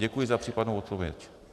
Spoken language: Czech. Děkuji za případnou odpověď.